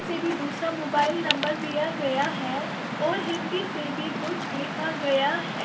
दूसरा mobile number दिया गया है और हिन्दी से भी कुछ लिखा गया है।